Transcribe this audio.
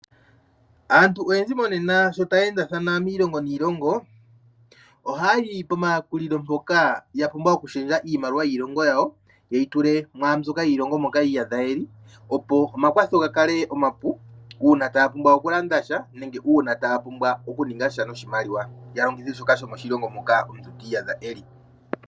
Aantu oyendji monena sho taya endathana miilongo niilongo, ohaya yi pomayakulilo mpoka ya pumbwa okushendja iimaliwa yiilongo yawo, ye yi tule mwaambyoka yiilongo moka yi iyadha ye li, opo omakwatho ga kale omapu, uuna taya pumbwa okulanda sha, nenge uuna taya pumbwa okuninga sha noshimaliwa, ya longithe shoka shomoshilongo moka omuntu ti iyadha e li.